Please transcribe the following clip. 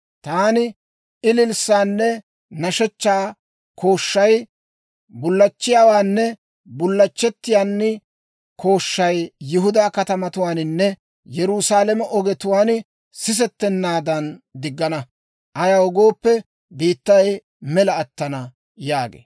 Taani ililssaanne nashshechchaa kooshshay, bullachchiyaawaanne bullachchettiyaan kooshshay Yihudaa katamatuwaaninne Yerusaalame ogetuwaan sisettennaadan diggana. Ayaw gooppe, biittay mela attana» yaagee.